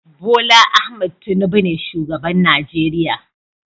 Bola Ahmed Tinubu ne shugaban Najeriya